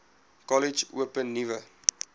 kollege open nuwe